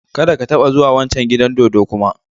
Kada ka taba zuwa wancan gidan dodo kuma!